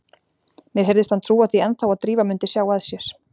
Mér heyrðist hann trúa því ennþá að Drífa mundi sjá að sér.